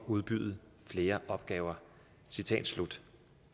udbyde flere opgaver